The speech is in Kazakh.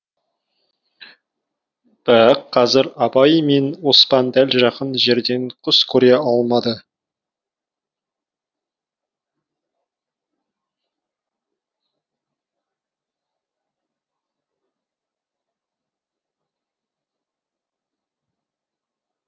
бірақ қазір абай мен оспан дәл жақын жерден құс көре алмады